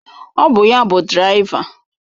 Ọ bụ ya bụ dịraiva.